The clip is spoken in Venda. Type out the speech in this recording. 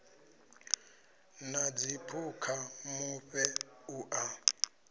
na dziphukha mufhe u a